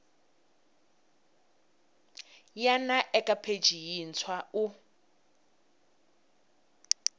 wana eka pheji yintshwa u